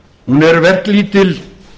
hún er verklítil